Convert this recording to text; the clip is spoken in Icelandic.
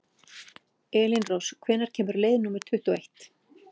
Elínrós, hvenær kemur leið númer tuttugu og eitt?